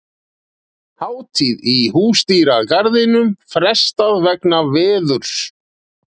Hátíð í Húsdýragarðinum frestað vegna veðurs